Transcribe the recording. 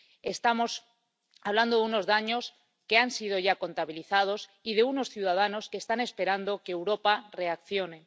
Estamos hablando de unos daños que han sido ya contabilizados y de unos ciudadanos que están esperando que Europa reaccione.